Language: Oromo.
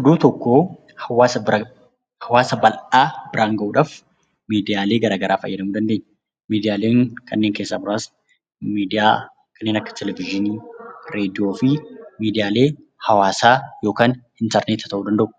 Oduu tokko hawaasa bal'aa biraan gahuudhaaf miidiyaalee garaagaraa fayyadamuu dandeenya. Isaanis kanneen akka televezyiinii, raadiyoo fi miidiyaalee hawaasaa yookaan intarneeta ta'uu danda'u